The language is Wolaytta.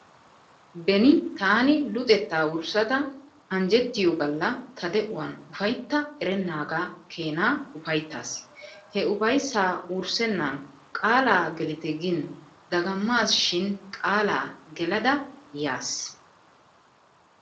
Beni taani luxettaa wurssada anjjettiyoo galla ta de"uwaan ufaytta erennaagaa keenaa ufayttaas. He ufayssaa wurssennan qaala gelite gin dagammasshin qaalaa gelada yaas.